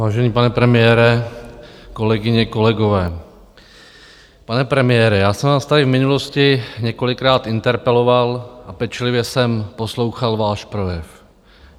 Vážený pane premiére, kolegyně, kolegové, pane premiére, já jsem vás tady v minulosti několikrát interpeloval a pečlivě jsem poslouchal váš projev.